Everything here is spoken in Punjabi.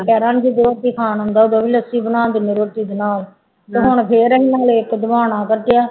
ਦੁਪਹਿਰਾਂ ਨੂੰ ਰੋਟੀ ਖਾਣ ਆਉਂਦਾ ਉਦੋਂ ਵੀ ਲੱਸੀ ਬਣਾ ਦਿੰਦੇ ਹਾਂ ਰੋਟੀ ਦੇ ਨਾਲ ਤੇ ਹੁਣ ਫਿਰ ਅਸੀਂ ਕੱਢਿਆ